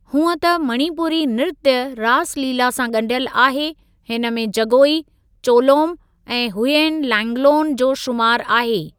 हूंअ त मणिपुरी नृत्‍य रास लीला सां गंढियल आहे, हिनमें जगोई, चोलोम ऐं हुयेन लैंगलोन जो शुमार आहे।